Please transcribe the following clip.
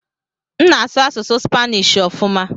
M na-asụ asụsụ Spanishi ọfuma.